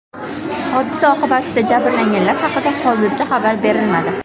Hodisa oqibatida jabrlanganlar haqida hozircha xabar berilmadi.